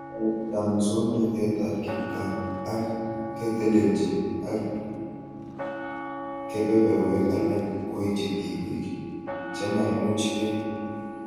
Kaetetab muswonotetab kipgaa ak kotelechin ak kebeberwek alak koitch tipik chemaimuchke